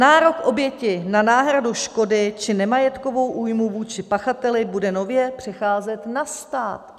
Nárok oběti na náhradu škody či nemajetkovou újmu vůči pachateli bude nově přecházet na stát.